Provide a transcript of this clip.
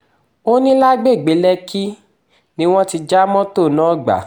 ó ní lágbègbè lẹ́kìkí ni wọ́n ti já mọ́tò náà gbà